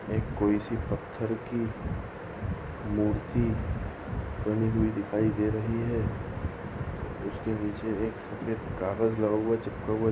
एक कोई सी पत्थर की मूर्ति बनी हुई दिखाई दे रही है उसके नीचे एक सफ़ेद कागज लगा हुआ चिपका हुआ--